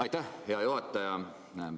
Aitäh, hea juhataja!